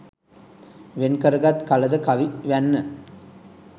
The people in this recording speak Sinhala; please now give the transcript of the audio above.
වෙන් කරගත් කල ද කවි වැන්න